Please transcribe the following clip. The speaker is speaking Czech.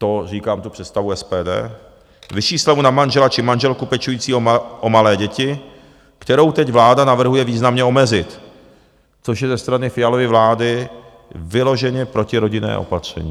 To říkám tu představu SPD, vyšší slevu na manžela či manželku pečující o malé děti, kterou teď vláda navrhuje významně omezit, což je ze strany Fialovy vlády vyloženě protirodinné opatření.